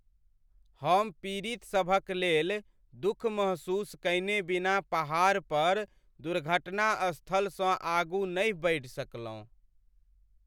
हम पीड़ितसभक लेल दुख महसूस कयने बिना पहाड़ पर दुर्घटनास्थलसँ आगू नहि बढ़ि सकलहुँ।